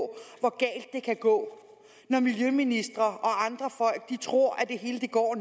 er kan gå når miljøministre og andre folk tror at det hele